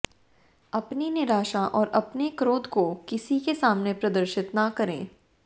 अपनी निराशा और अपने क्रोध को किसी के सामने प्रदर्शित न करें